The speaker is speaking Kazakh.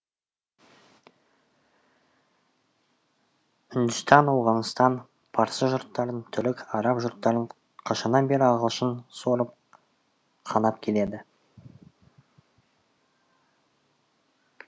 үндістан ауғанстан парсы жұрттарын түрік араб жұрттарын қашаннан бері ағылшын сорып қанап келеді